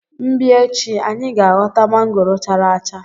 m bia echi, anyi ga ghota mangoro chara acha.